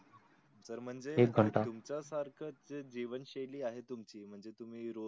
तुमचा सारखी जे जीवन शैय्ली आहे तुमची म्हणजे तुम्ही रोज.